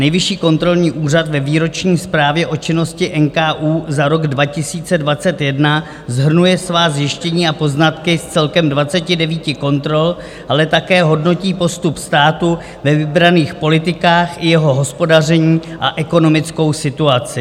Nejvyšší kontrolní úřad ve výroční zprávě o činnosti NKÚ za rok 2021 shrnuje svá zjištění a poznatky z celkem 29 kontrol, ale také hodnotí postup státu ve vybraných politikách i jeho hospodaření a ekonomickou situaci.